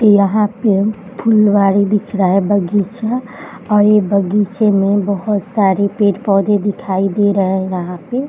यहां पे फुलवारी दिख रहा है बगीचा और ये बगीचे में बहुत सारे पेड़-पौधे दिखाई दे रहे हैं यहां पे।